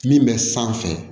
Min bɛ sanfɛ